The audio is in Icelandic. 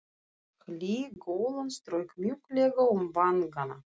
Hlý golan strauk mjúklega um vangana.